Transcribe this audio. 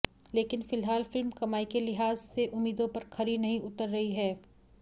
लेकिन फिलहाल फिल्म कमाई के लिहाज़ से उम्मीदों पर खरी नहीं उतर रही है